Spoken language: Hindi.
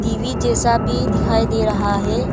री जैसा भी दिखाई दे रहा है।